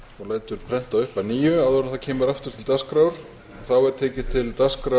það verði prentað upp að nýju já þá fresta ég þessari umræðu